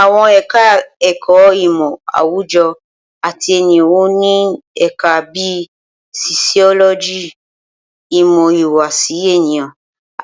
Awọn eka-eko imo awujo at eniyan o ni o ni Eka bi sosiyologi, imo ihuwasi eniyan,